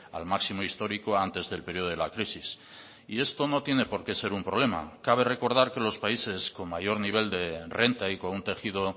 al máximo histórico antes del periodo de la crisis y esto no tiene por qué ser un problema cabe recordar que los países con mayor nivel de renta y con un tejido